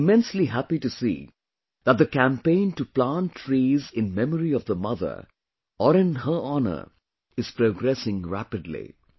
And I am immensely happy to see that the campaign to plant trees in memory of the mother or in her honor is progressing rapidly